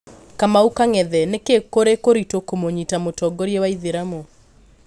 Kamau kang’ethe: Nĩkĩĩ kũrĩ kũritu kũmũnyita mũtongoria wa itheramu